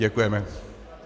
Děkujeme.